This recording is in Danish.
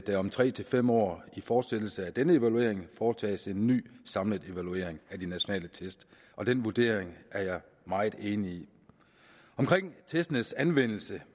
der om tre fem år i fortsættelse af denne evaluering foretages en ny samlet evaluering af de nationale test og den vurdering er jeg meget enig i omkring testenes anvendelse